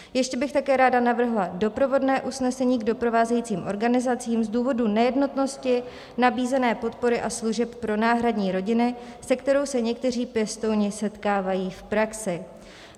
Ještě bych také ráda navrhla doprovodné usnesení k doprovázejícím organizacím z důvodu nejednotnosti nabízené podpory a služeb pro náhradní rodiny, se kterou se někteří pěstouni setkávají v praxi.